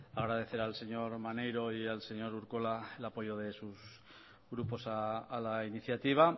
agradecer al señor maneiro y al señor urkola el apoyo de sus grupos a la iniciativa